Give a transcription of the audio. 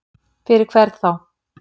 Fyrir hvern þá?